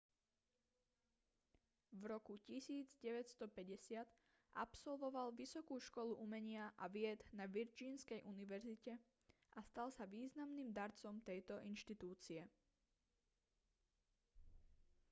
v roku 1950 absolvoval vysokú školu umenia a vied na virgínskej univerzite a stal sa významným darcom tejto inštitúcie